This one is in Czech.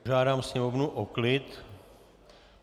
Požádám Sněmovnu o klid.